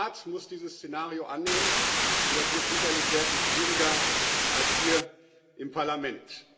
Der Rat muss dieses Szenario annehmen, und das wird sicherlich sehr viel schwieriger als hier im Parlament.